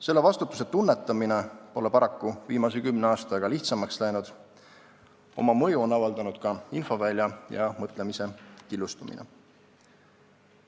Selle vastutuse tunnetamine pole paraku viimase kümne aastaga lihtsamaks läinud, oma mõju on avaldanud ka infovälja ja mõtlemise killustumine.